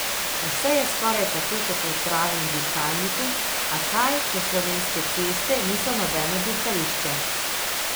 Vse je skoraj tako kot v pravem dirkalniku, a kaj, ko slovenske ceste niso nobeno dirkališče.